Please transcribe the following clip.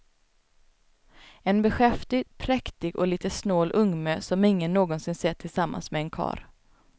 En beskäftig, präktig och lite snål ungmö som ingen någonsin sett tillsammans med en karl.